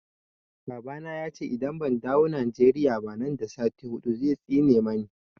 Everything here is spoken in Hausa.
Baba na ya ce idan ban dawo Nigeria ba nan da sati hudu zai tsine mani.